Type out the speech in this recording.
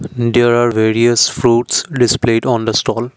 in there are various fruits displayed on the stall.